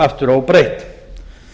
aftur óbreytt